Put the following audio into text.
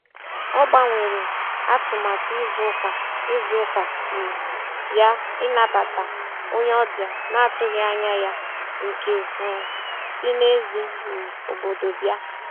Ọ gbanwere atụmatụ izu ụka izu ụka um ya ịnabata onye ọbịa na-atụghị anya ya nke um si n'èzí um obodo bịa.